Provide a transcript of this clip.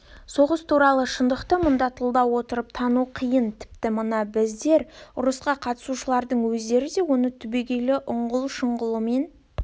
соғыс туралы шындықты мұнда тылда отырып тану қиын тіпті мына біздер ұрысқа қатысушылардың өздері де оны түбегейлі ұңғыл-шұңғылына